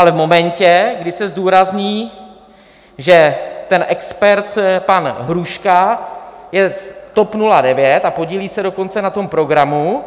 Ale v momentě, kdy se zdůrazní, že ten expert pan Hruška je z TOP 09, a podílí se dokonce na tom programu...